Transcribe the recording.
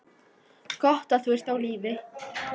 Gott að þú ert á lífi.